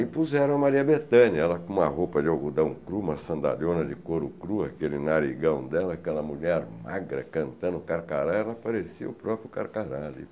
E puseram a Maria Bethânia, ela com uma roupa de algodão cru, uma sandaliona de couro cru, aquele narigão dela, aquela mulher magra cantando Carcará, ela parecia o próprio Carcará ali.